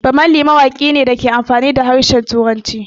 Bammali mawaƙi ne mai amfani da harshen Turanci